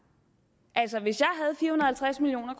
halvtreds million